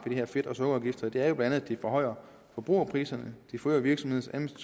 her fedt og sukkerafgifter det er jo bla at det forhøjer forbrugerpriserne det forøger virksomhedernes